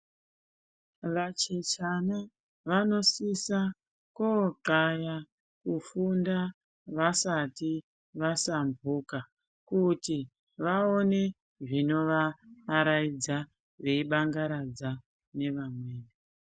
Vachechana vanosisa kokaya kufunda vasati vasamhuka. Kuti vaone zvinovaaraidza veibangaradza nevamweni.